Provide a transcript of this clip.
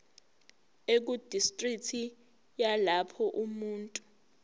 ekudistriki yalapho umuntu